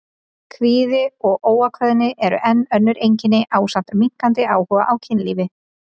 Kvíði og óákveðni eru enn önnur einkenni ásamt minnkandi áhuga á kynlífi.